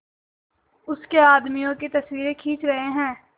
उसके आदमियों की तस्वीरें खींच रहे हैं